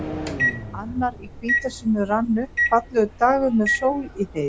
Annar í hvítasunnu rann upp, fallegur dagur með sól í heiði.